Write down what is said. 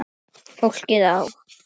Fólkið á